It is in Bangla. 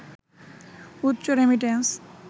উচ্চ রেমিট্যান্স